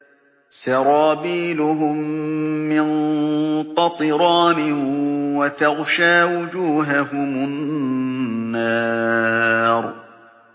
سَرَابِيلُهُم مِّن قَطِرَانٍ وَتَغْشَىٰ وُجُوهَهُمُ النَّارُ